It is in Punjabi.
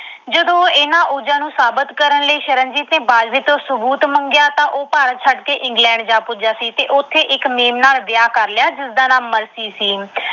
ਜਦੋਂ ਇਹਨਾਂ ਨੂੰ ਸਾਬਤ ਕਰਨ ਲਈ ਸ਼ਰਨਜੀਤ ਨੇ ਬਾਜਵੇ ਤੋਂ ਸਬੂਤ ਮੰਗਿਆ, ਤਾਂ ਉਹ ਭਾਰਤ ਛੱਡ ਕੇ England ਜਾ ਪੁਜਿਆ ਸੀ ਤੇ ਉਥੇ ਇਕ mem ਨਾਲ ਵਿਆਹ ਕਰ ਲਿਆ, ਜਿਸਦਾ ਨਾਮ ਮਰਸੀ ਸੀ।